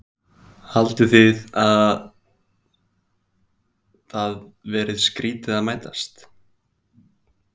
Haldið þið að það verið skrýtið að mætast?